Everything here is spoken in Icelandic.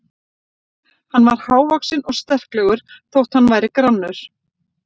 Hann var hávaxinn og sterklegur þótt hann væri grannur.